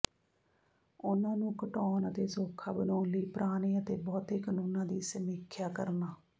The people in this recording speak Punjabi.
ਉਨ੍ਹਾਂ ਨੂੰ ਘਟਾਉਣ ਅਤੇ ਸੌਖਾ ਬਣਾਉਣ ਲਈ ਪੁਰਾਣੇ ਅਤੇ ਬਹੁਤੇ ਕਾਨੂੰਨਾਂ ਦੀ ਸਮੀਖਿਆ ਕਰਨਾ